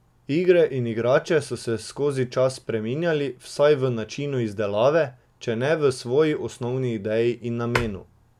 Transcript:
Igre in igrače so se skozi čas spreminjali, vsaj v načinu izdelave, če ne v svoji osnovni ideji in namenu.